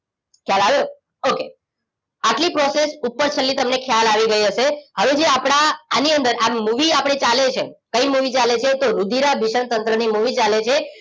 ખ્યાલ આયો ઓકે આટલી પ્રોસેસ ઉપર છલી તમને ખ્યાલ આવી ગયો હશે હવે જે આપણા આની અંદર આ મૂવી આપણે ચાલે છે કઈ મૂવી ચાલે છે તો રુધીરાભીસરણ તંત્ર ની મૂવી ચાલે છે